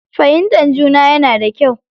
Fahimtar juna yana da kyau.